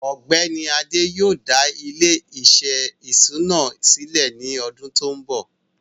ọgbẹni Adé yóò dá ilẹ̀-iṣẹ ìṣúnà silẹ̀ ní ọdún tó nbọ.